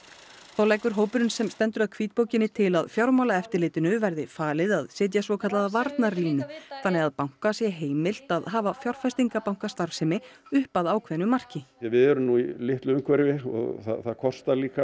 þá leggur hópurinn sem stendur að hvítbókinni til að Fjármálaeftirlitinu verði falið að setja svokallaða varnarlínu þannig að banka sé heimilt að hafa fjárfestingabankastarfsemi upp að ákveðnu marki við erum nú í litlu umhverfi og það kostar líka